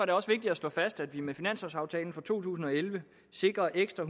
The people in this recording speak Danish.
det også vigtigt at slå fast at vi med finanslovaftalen for to tusind og elleve sikrer ekstra